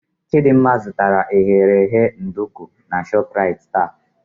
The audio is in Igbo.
Chidimma zụtara eghereghe nduku na Shoprite taa.